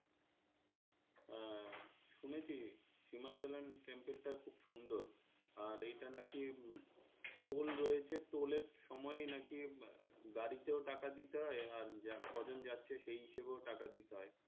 হম শুনেছি সিমাচলেন temple টা খুব সুন্দর আর এইটা নাকি টোল রয়েছে টোলের সময়েই নাকি গাড়িতেও টাকা দিতে হই আর কজন যাচ্ছে সেই হিসাবেও টাকা দিতে হয়,